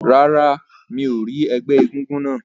Rárá, mi ò rí ẹgbẹ́ egúngún náà.